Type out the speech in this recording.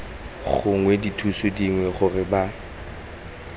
gongwe dithuso dingwe gore ba